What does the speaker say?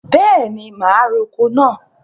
Bẹẹni, ma roko náà.